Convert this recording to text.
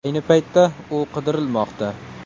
Ayni paytda u qidirilmoqda.